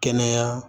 Kɛnɛya